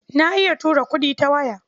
Na iya tura kuɗi ta waya.